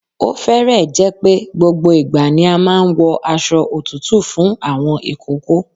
Ó fẹ́rẹ̀ẹ́ jẹ́ pé gbogbo ìgbà ni a máa ń wọ aṣo òtútù fún àwọn ìkókó.